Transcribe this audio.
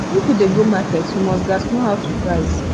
if yu dey go market yu must gas know how to price